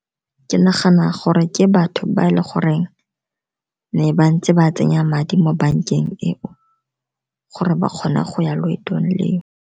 Ke nagana gore ke batho ba eleng gore ne ba ntse ba tsenya madi mo bankeng e o gore ba kgone go ya loetong le o.